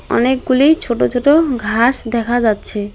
অনেকগুলি ছোট ছোট ঘাস দেখা যাচ্ছে।